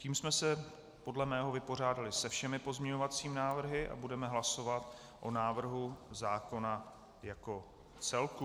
Tím jsme se podle mého vypořádali se všemi pozměňovacími návrhy a budeme hlasovat o návrhu zákona jako celku.